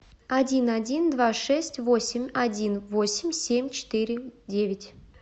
один один два шесть восемь один восемь семь четыре девять